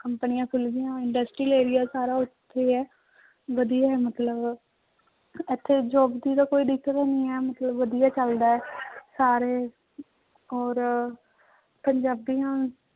ਕੰਪਨੀਆਂ ਖੁੱਲ ਗਈਆਂ industrial area ਸਾਰਾ ਉੱਥੇ ਹੈ, ਵਧੀਆ ਹੈ ਮਤਲਬ ਇੱਥੇ job ਦੀ ਤਾਂ ਕੋਈ ਦਿੱਕਤ ਨੀ ਹੈ ਮਤਲਬ ਵਧੀਆ ਚੱਲਦਾ ਹੈ ਸਾਰੇ ਔਰ ਪੰਜਾਬੀਆਂ